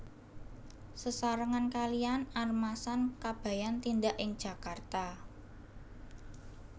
Sesarengan kaliyan Armasan Kabayan tindak ing Jakarta